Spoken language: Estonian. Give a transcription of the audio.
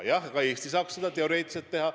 Jah, ka Eesti saaks seda teoreetiliselt teha.